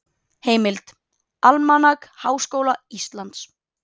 Heimild: Almanak Háskóla Íslands.